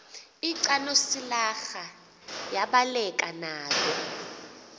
lcanosilarha yabaleka nalo